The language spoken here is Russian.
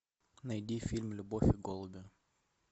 найди фильм любовь и голуби